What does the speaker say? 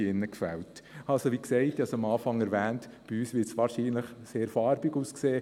Also, wie eingangs erwähnt, wird es bei uns es wohl ziemlich farbig aussehen.